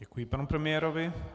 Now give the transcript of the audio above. Děkuji, pane premiére.